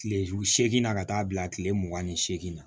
Kile seeginna ka taa bila kile mugan ni seegin na